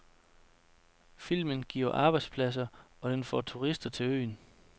Filmen giver arbejdspladser, og den vil få turister til øen.